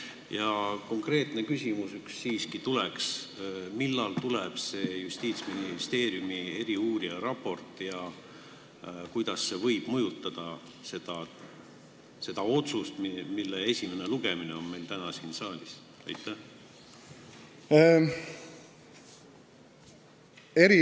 Ja üks konkreetne küsimus siiski on: millal tuleb see Justiitsministeeriumi eriuurija raport ja kuidas see võib mõjutada seda otsust, mille eelnõu esimene lugemine on meil täna siin saalis?